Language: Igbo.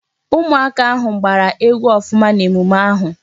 Ụmụ aka ahụ gbara egwu ọfụma n'emume ahụ